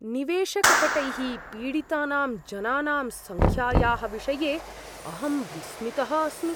निवेशकपटैः पीडितानां जनानां सङ्ख्यायाः विषये अहं विस्मितः अस्मि।